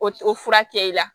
O o fura kɛ i la